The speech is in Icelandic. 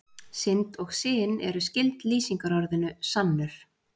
Synd og syn eru skyld lýsingarorðinu sannur.